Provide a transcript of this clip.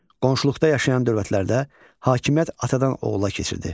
Qonşuluqda yaşayan dövlətlərdə hakimiyyət atadan oğula keçirdi.